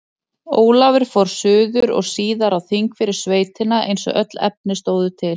Ólafur fór suður og síðar á þing fyrir sveitina eins og öll efni stóðu til.